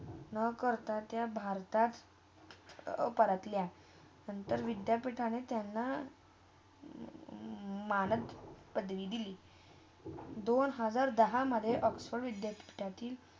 ना करता ते भारतात. अ परतल्या, म नंतर विद्यापीठांनी त्यांना मानत पदवी दिली. दोन हजार दहामधे ऑक्सफर्ड विद्यापीठांनी.